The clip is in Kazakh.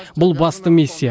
бұл басты миссия